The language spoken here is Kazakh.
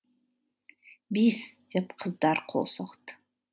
бис деп қыздар қол соқты